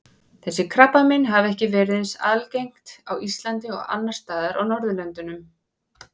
Þessi krabbamein hafa ekki verið eins algengt á Íslandi og annars staðar á Norðurlöndunum.